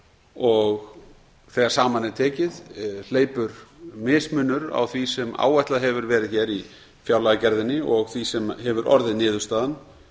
og þegar saman er tekið hleypur mismunur á því sem áætlað hefur verið hér í fjárlagagerðinni og því sem hefur orðið niðurstaðan